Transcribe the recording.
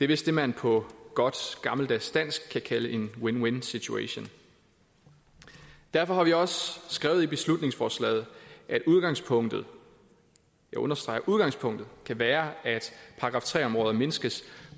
vist det man på godt gammeldags dansk kan kalde en win win situation derfor har vi også skrevet i beslutningsforslaget at udgangspunktet jeg understreger at udgangspunktet kan være at § tre områder mindskes